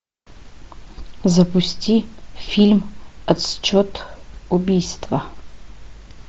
запусти фильм отсчет убийства